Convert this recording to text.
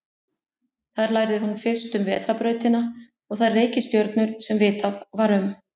Þar lærði hún fyrst um vetrarbrautina og þær reikistjörnur sem vitað var um.